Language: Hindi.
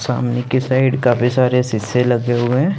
सामने की साइड काफी सारे सीसे लग हुए हैं।